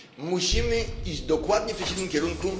Musimy iść dokładnie w przeciwnym kierunku.